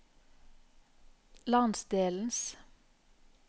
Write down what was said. landsdelens